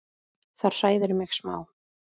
Það hræðir mig smá.